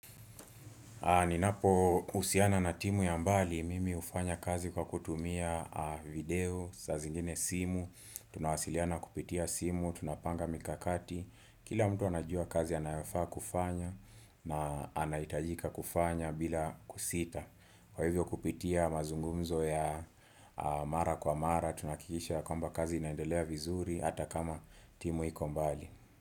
Ninapo husiana na timu ya mbali, mimi hufanya kazi kwa kutumia video, saa zingine simu, tunawasiliana kupitia simu, tunapanga mikakati, kila mtu anajua kazi anayofaa kufanya na anahitajika kufanya bila kusita. Kwa hivyo kupitia mazungumzo ya mara kwa mara, tunahakikisha ya kwamba kazi inaendelea vizuri hata kama timu iko mbali.